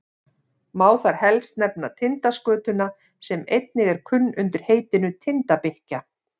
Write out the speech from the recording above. má þar helst nefna tindaskötuna sem einnig er kunn undir heitinu tindabikkja